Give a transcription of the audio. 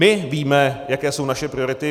My víme, jaké jsou naše priority.